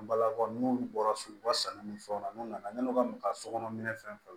An balakaw n'olu bɔra sugu ka sanu ni fɛnw na n'u nana yann'u ka sokɔnɔ minɛ fɛn fɛn na